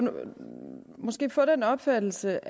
måske få den opfattelse